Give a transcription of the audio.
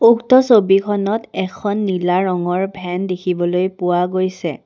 উক্ত ছবিখনত এখন নীলা ৰঙৰ ভেন দেখিবলৈ পোৱা গৈছে।